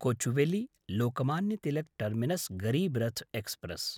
Kochuveli-Lokmanya Tilak terminus Garib Rath express